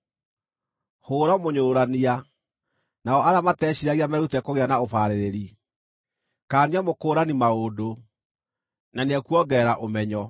Hũũra mũnyũrũrania, nao arĩa mateciiragia merute kũgĩa na ũbaarĩrĩri; kaania mũkũũrani maũndũ, na nĩekuongerera ũmenyo.